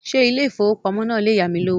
Ṣé ilé ìfowópamọ́ náà le yámi lówó?